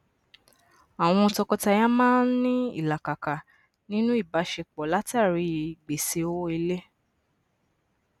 àwọn tọkọtaya maa n ní ìlàkàkà ninu ìbáṣepọ látari gbese owó ilé